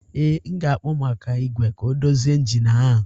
Ee, m ga-akpọ maka igwe ka ọ dozie injin ahụ